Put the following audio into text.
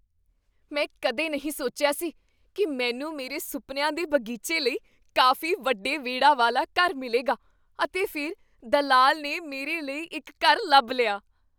ਮੈਂ ਕਦੇ ਨਹੀਂ ਸੋਚਿਆ ਸੀ ਕੀ ਮੈਨੂੰ ਮੇਰੇ ਸੁਪਨਿਆਂ ਦੇ ਬਗੀਚੇ ਲਈ ਕਾਫ਼ੀ ਵੱਡੇ ਵਿਹੜਾ ਵਾਲਾ ਘਰ ਮਿਲੇਗਾ, ਅਤੇ ਫਿਰ ਦਲਾਲ ਨੇ ਮੇਰੇ ਲਈ ਇੱਕ ਘਰ ਲੱਭ ਲਿਆ!